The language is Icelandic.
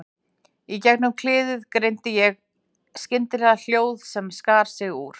Í gegnum kliðinn greindi ég skyndilega hljóð sem skar sig úr.